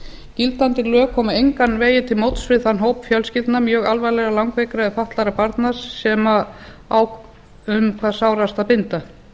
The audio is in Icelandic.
gildandi lög koma engan veginn til móts við þann hóp fjölskyldna mjög alvarlega langveikra eða fatlaðra barna sem á um hvað sárast að binda